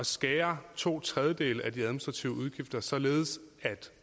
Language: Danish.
skære to tredjedele af de administrative udgifter således at